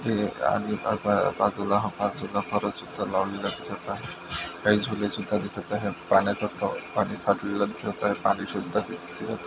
बाजूला झुले लावलेला दिसत आहे काही झुले सुद्धा दिसत आहे पाण्याचा पाणी साठलेला दिसत आहे पाणी--